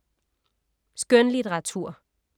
Skønlitteratur